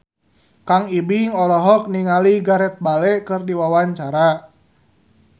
Kang Ibing olohok ningali Gareth Bale keur diwawancara